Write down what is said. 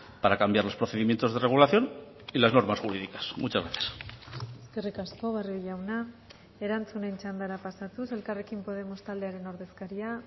para cambiar los procedimientos de regulación y las normas jurídicas muchas gracias eskerrik asko barrio jauna erantzunen txandara pasatuz elkarrekin podemos taldearen ordezkaria